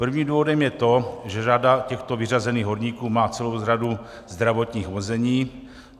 Prvním důvodem je to, že řada těchto vyřazených horníků má celou řadu zdravotních omezení.